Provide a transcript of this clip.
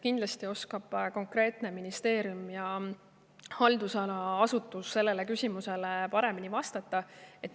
Kindlasti oskab konkreetne ministeerium ja haldusala asutus sellele küsimusele paremini vastata.